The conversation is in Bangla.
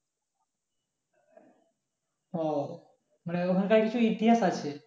ও মানে ওখানকার কিছু ইতিহাস আছে?